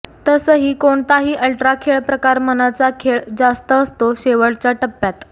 तसही कोणताही अल्ट्रा खेळ्प्रकार मनाचा खेळ जास्त असतो शेवटच्या टप्प्यात